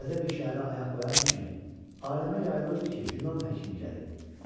Təzə bir şəhərə ayaq qoyan kimi, aləmə yayılırdı ki, yunan həkimi gəlib.